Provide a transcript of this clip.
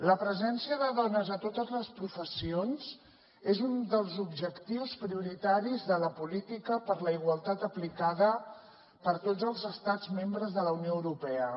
la presència de dones a totes les professions és un dels objectius prioritaris de la política per la igualtat aplicada per tots els estats membres de la unió europea